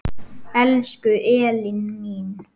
Elsku Elín mín.